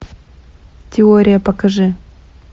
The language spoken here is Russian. теория покажи